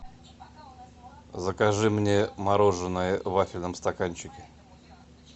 закажи мне мороженое в вафельном стаканчике